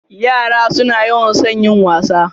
Yara suna yawan son yin wasa.